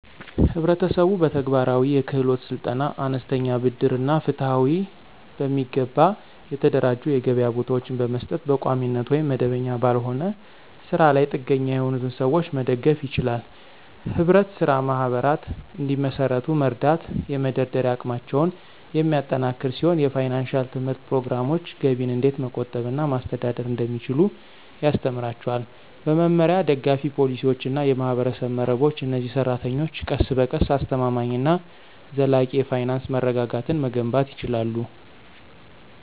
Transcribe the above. ህብረተሰቡ በተግባራዊ የክህሎት ስልጠና፣ አነስተኛ ብድር እና ፍትሃዊ፣ በሚገባ የተደራጁ የገበያ ቦታዎችን በመስጠት በቋሚነት ወይም መደበኛ ባልሆነ ስራ ላይ ጥገኛ የሆኑትን ሰዎች መደገፍ ይችላል። ህብረት ስራ ማህበራት እንዲመሰርቱ መርዳት የመደራደሪያ አቅማቸውን የሚያጠናክር ሲሆን የፋይናንሺያል ትምህርት ፕሮግራሞች ገቢን እንዴት መቆጠብ እና ማስተዳደር እንደሚችሉ ያስተምራቸዋል። በመመሪያ፣ ደጋፊ ፖሊሲዎች እና የማህበረሰብ መረቦች፣ እነዚህ ሰራተኞች ቀስ በቀስ አስተማማኝ እና ዘላቂ የፋይናንስ መረጋጋትን መገንባት ይችላሉ።